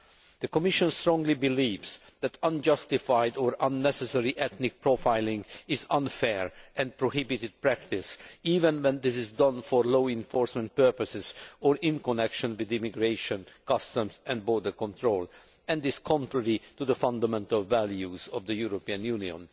The Commission strongly believes that unjustified or unnecessary ethnic profiling is an unfair and prohibited practice, even when this is done for law enforcement purposes or in connection with immigration, customs and border control, and is contrary to the fundamental values of the European Union.